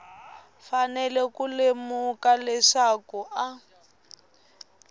fanele ku lemuka leswaku a